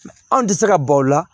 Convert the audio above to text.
Anw tɛ se ka baw la